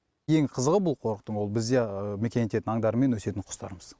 ең қызығы бұл қорықтың ол бізде мекен ететін аңдар мен өсетін құстарымыз